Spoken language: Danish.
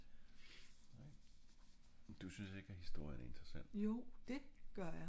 nej du synes ikke at historie er interessant?